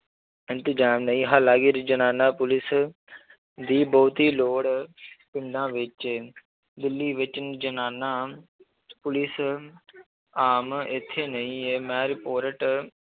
ਇੰਤਜ਼ਾਮ ਨੀ ਹਾਲਾਂਕਿ ਜਨਾਨਾ ਪੁਲਿਸ ਦੀ ਬਹੁਤੀ ਲੋੜ ਪਿੰਡਾਂ ਵਿੱਚ ਦਿੱਲੀ ਵਿੱਚ ਜਨਾਨਾ ਪੁਲਿਸ ਆਮ ਇੱਥੇ ਨਹੀਂ ਹੈ ਮੈਂ report